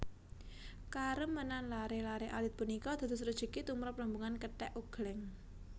Karemenan laré laré alit punika dados rejeki tumrap rombongan kethèk ogléng